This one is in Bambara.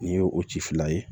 Nin ye o ci fila ye